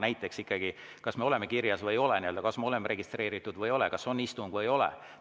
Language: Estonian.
Näiteks kas me oleme kirjas või ei ole, kas me oleme registreeritud või ei ole, kas on istung või ei ole.